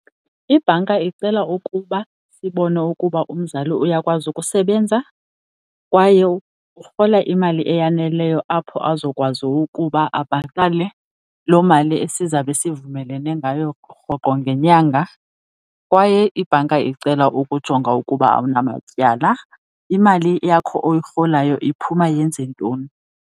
Ibhanka icela ukuba sibone ukuba umzali uyakwazi ukusebenza kwaye urhola imali eyaneleyo apho azokwazi ukuba abhatale loo mali esizabe sivumelane ngayo rhoqo ngenyanga. Kwaye ibhanka icela ukujonga ukuba awunamatyala. Imali yakho oyirholayo iphuma yenze ntoni?